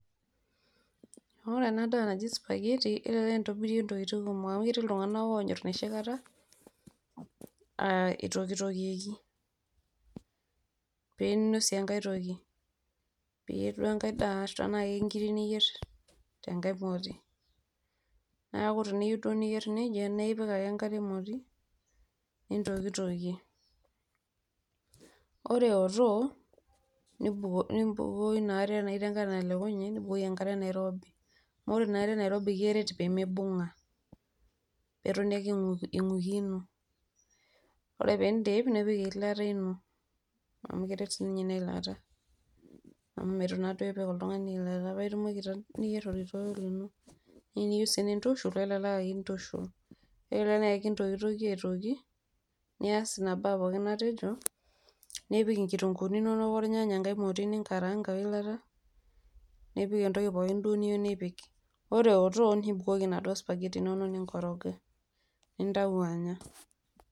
ore ena daa naji sphaghetti elelek intobirie intokitinkumok amu etii iltunganak onyor enoshi kata aa itokitokieki pinosie enkae toki piyier duo tenaa kenkiri niyier tenkae moti niaku tiniyieu duo niyier nejia naa ipik ake enkare emotinintokitokie. ore eotok nimbukoo ina are tenaa ketii enkare natelekunye nibukoki enkare nairobi ,naa ore ina are nairobi naa keret pemibunga eton inguikino ore pindip nipik eilata ino amu keret sininye ina ilata .